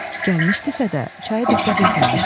Gəlmişdisə də, çaya diqqət etməmişdi.